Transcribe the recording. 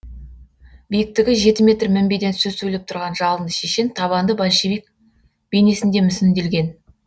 биіктігі жеті метр мінбеден сөз сөйлеп тұрған жалынды шешен табанды большевик бейнесінде мүсінделген